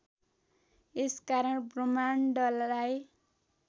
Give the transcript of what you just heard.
यस कारण ब्रह्माण्डलाई